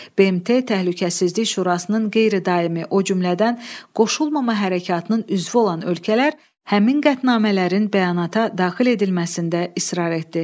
BMT Təhlükəsizlik Şurasının qeyri-daimi, o cümlədən Qoşulmama Hərəkatının üzvü olan ölkələr həmin qətnamələrin bəyanata daxil edilməsində israr etdi.